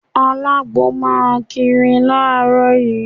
Alagbo máa kiri láàárọ̀ yìí.